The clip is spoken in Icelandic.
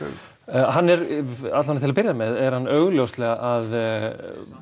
hann er alla vega til að byrja með er hann augljóslega að